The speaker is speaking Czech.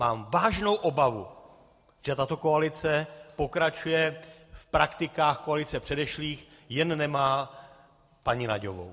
Mám vážnou obavu, že tato koalice pokračuje v praktikách koalicí předešlých, jen nemá paní Nagyovou.